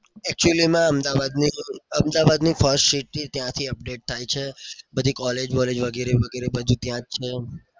actully માં અમદાવાદની first seat બી ત્યાંથી update થાય છે. બધી collage બોલેજ વગરે વગરે બધું ત્યાં જ છે.